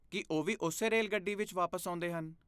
ਕੀ ਉਹ ਵੀ ਉਸੇ ਰੇਲਗੱਡੀ ਵਿੱਚ ਵਾਪਸ ਆਉਂਦੇ ਹਨ?